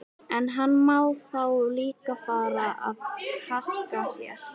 En hann má þá líka fara að haska sér.